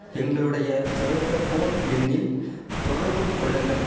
எங்களுடைய சர்வேச போன் எண்ணில் தொடர்பு கொள்ளுங்கள்